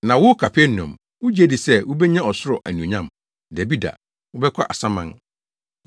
Na wo Kapernaum, wugye di sɛ wubenya ɔsoro anuonyam? Dabi da, wobɛkɔ asaman.